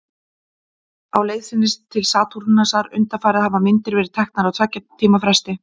Á leið sinni til Satúrnusar undanfarið hafa myndir verið teknar á tveggja tíma fresti.